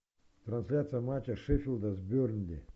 трансляция матча шеффилда с бернли